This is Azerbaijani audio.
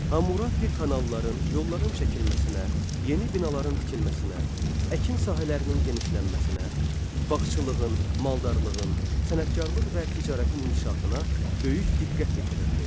Hammurapi kanalların, yolların çəkilməsinə, yeni binaların tikilməsinə, əkin sahələrinin genişlənməsinə, bağçılığın, maldarlığın, sənətkarlıq və ticarətin inkişafına böyük diqqət yetirirdi.